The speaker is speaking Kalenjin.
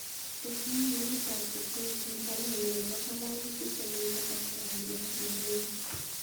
Tesyin muurit ab Kipkoech en baruenyun nebo ngalalutik chemiten Kasarani Nairobi